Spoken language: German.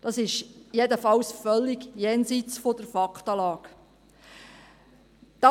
Das ist jedenfalls völlig jenseits der Faktenlage.